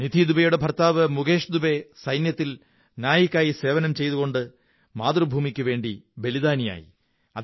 നിധി ദുബേയുടെ ഭര്ത്താ വ് മുകേശ് ദുബേ സൈന്യത്തിൽ നായിക് ആയി സേവനം ചെയ്തുകൊണ്ട് മാതൃഭൂമിക്കുവേണ്ടി ബലിദാനിയായി